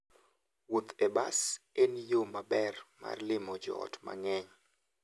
Wuoth e bas en yo maber mar limo joot mang'eny.